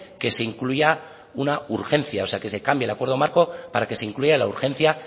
que se incluya una urgencia o sea que se cambie el acuerdo marco para que se incluya la urgencia